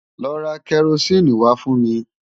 Lọ ra kẹrosíìnì wá fún mi!